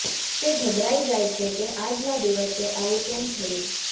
તે ગભરાઈ જાય છે કે આજના દિવસે આવું કેમ થયુ